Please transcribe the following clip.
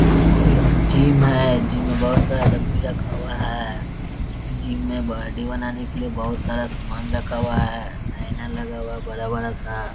एक जिम है जिम मे बहुत सारा डमी रखा हुआ है | जिम में बॉडी बनाने के लिए बहुत सारा सामान रखा हुआ है आईना लगा हुआ है बड़ा-बड़ा सा --